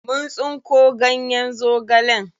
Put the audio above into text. Mun tsinko ganyen zogalen.